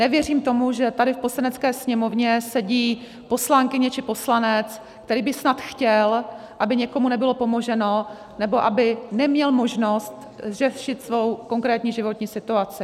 Nevěřím tomu, že tady v Poslanecké sněmovně sedí poslankyně či poslanec, který by snad chtěl, aby někomu nebylo pomoženo nebo aby neměl možnost řešit svou konkrétní životní situaci.